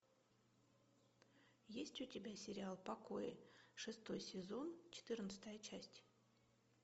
есть у тебя сериал покои шестой сезон четырнадцатая часть